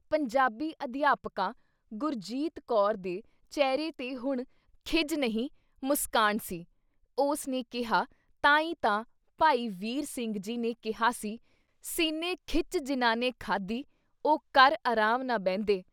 ਪੰਜਾਬੀ ਅਧਿਆਪਕਾ ਗੁਰਜੀਤ ਕੌਰ ਦੇ ਚਿਹਰੇ 'ਤੇ ਹੁਣ ਖਿਝ ਨਹੀਂ ਮੁਸਕਾਣ ਸੀ, ਉਸ ਨੇ ਕਿਹਾ ਤਾਂ ਈ ਤਾਂ ਭਾਈ ਵੀਰ ਸਿੰਘ ਜੀ ਨੇ ਕਿਹਾ ਸੀ- ਸੀਨੇ ਖਿੱਚ ਜਿੰਨ੍ਹਾਂ ਨੇ ਖਾਧੀ, ਉਹ ਕਰ ਅਰਾਮ ਨਾ ਬਹਿੰਦੇ।